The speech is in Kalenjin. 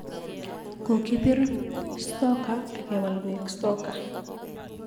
Kokibir soccer ak ke wol koek soka